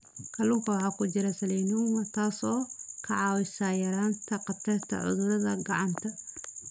Kalluunka waxaa ku jira selenium, taas oo ka caawisa yaraynta khatarta cudurada gacanta.